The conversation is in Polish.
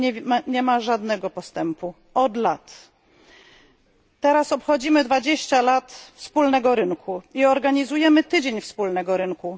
Tutaj nie ma żadnego postępu od lat. Teraz obchodzimy dwudziestolecie wspólnego rynku i organizujemy tydzień wspólnego rynku.